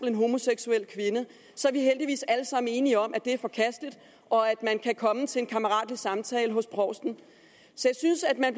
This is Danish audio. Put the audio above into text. en homoseksuel kvinde så er vi heldigvis alle sammen enige om at det er forkasteligt og at man kan komme til en kammeratlig samtale hos provsten så jeg synes at man